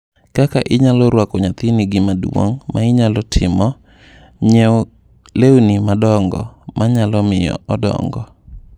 Kaka inyalo rwak nyathini Gima duong’ ma inyalo timo: Ng’iewi lewni madongo ma nyalo miyo odongo.